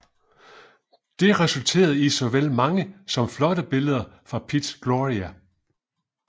Det resulterede i såvel mange som flotte billeder fra Piz Gloria